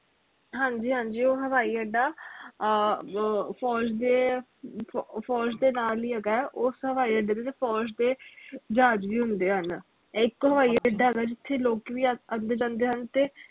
ਹਾਂਜੀ ਹਾਂਜੀ ਉਹ ਹਵਾਈ ਅੱਡਾ ਆਹ force ਦੇ force ਦੇ ਨਾਲ ਹੀ ਹੇਗਾ ਉਸ ਹਵਾਈ ਅੱਡੇ ਤੇ force ਦੇ ਜਹਾਜ ਵੀ ਹੁੰਦੇ ਹਨ ਇਕ ਹਵਾਈ ਅੱਡਾ ਹੇਗਾ ਜਿਥੇ ਲੋਕ ਵੀ ਆਂਦੇ ਜਾਂਦੇ ਹਨ ਤੇ